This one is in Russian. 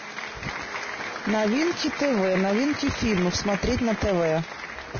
новинки тв новинки фильмов смотреть на тв